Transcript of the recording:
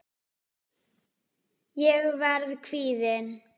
Ég verð kvíðin.